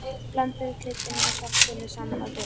Blandið kryddinu og saltinu saman á disk.